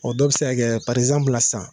O dɔw bɛ se ka parizamblu la san.